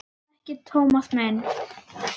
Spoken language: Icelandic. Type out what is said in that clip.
Er það ekki, Tómas minn?